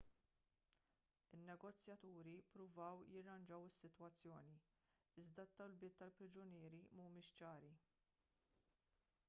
in-negozjaturi ppruvaw jirranġaw is-sitwazzjoni iżda t-talbiet tal-priġunieri mhumiex ċari